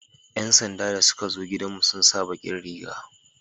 yan sanda da suka zo gidan mu sun sa bakin Riga